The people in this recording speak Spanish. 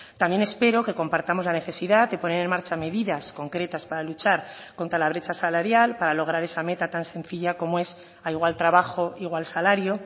también espero que compartamos la necesidad de poner en marcha medidas concretas para luchar contra la brecha salarial para lograr esa meta tan sencilla como es a igual trabajo igual salario